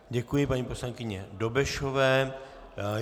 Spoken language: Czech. Děkuji paní poslankyni Dobešové.